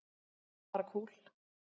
Bara kúl.